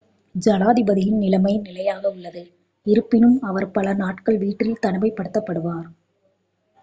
ஜனாதிபதியின் நிலைமை நிலையாக உள்ளது இருப்பினும் அவர் பல நாட்கள் வீட்டில் தனிமைப்படுத்தப்படுவார்